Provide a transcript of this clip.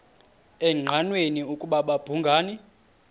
engqanweni ukuba babhungani